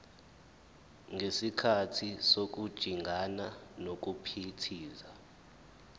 ngesikhathi sokujingana nokuphithiza